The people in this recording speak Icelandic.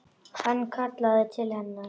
Hann kallaði til hennar.